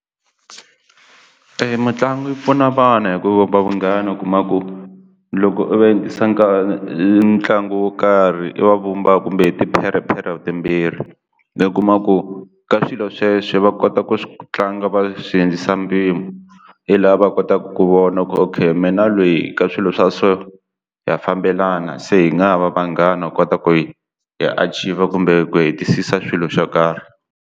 E mitlangu yi pfuna vana hi ku vunghana u kuma ku loko u ntlangu wo karhi va vumba kumbe hi tipherhepherhe timbirhi i kuma ku ka swilo sweswo va kota ku tlanga va swi hindzisa mpimo hi laha va kotaka ku vona ku okay meh na lweyi ka swilo swa so ha fambelana se hi nga ha va vanghana ku kota ku hi hi archive kumbe ku hetisisa swilo swo karhi.